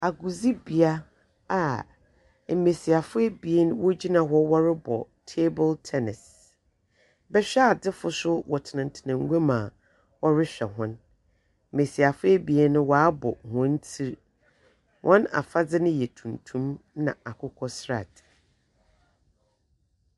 Agorodibea a mmasiafo abien gyina hɔ rebɔ taboro tɛnɛse bɛhwɛadefo nso tena guam a ɔrehwɛ wɔn mmasiafo no abɔ wɔn ti wɔafade no yɛ tuntum ne akokɔsradeɛ.